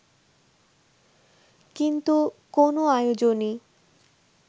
কিন্তু কোনো আয়োজনই